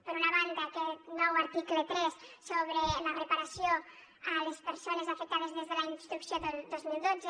per una banda aquest nou article tres sobre la reparació a les persones afectades des de la instrucció del dos mil dotze